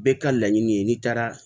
Bɛɛ ka laɲini ye n'i taara